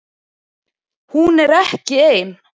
Hún er ekki ein